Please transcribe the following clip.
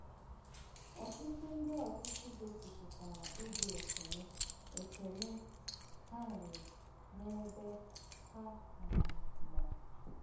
Ọtụtụ ndị ọchịchị gosipụtara obi ekele ekele ha nwere n’ebe Ha um nọ.